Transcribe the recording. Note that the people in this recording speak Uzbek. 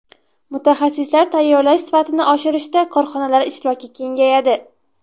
Mutaxassislar tayyorlash sifatini oshirishda korxonalar ishtiroki kengayadi.